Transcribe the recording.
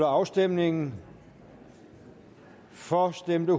afstemningen for stemte